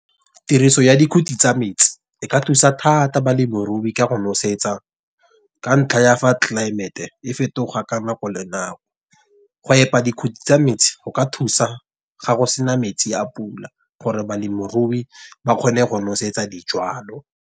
Tiriso ya dikhuti tsa metsi, e ka thusa thata balemirui ka go nosetsa ka ntlha ya fa tlelaemete e fetoga ka nako le nako. Go epa dikhuti tsa metsi go ka thusa ga go sena metsi a pula. Gore balemirui ba kgone go nosetsa dijalo.